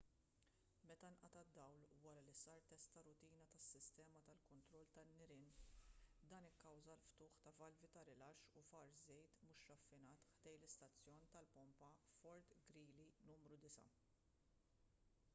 meta nqata' d-dawl wara li sar test ta' rutina tas-sistema tal-kontroll tan-nirien dan ikkawża l-ftuħ ta' valvi ta' rilaxx u far żejt mhux raffinat ħdejn l-istazzjon tal-pompa fort greely nru 9